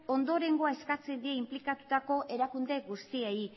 ondorengoa eskatzen die inplikatutako erakunde guztiei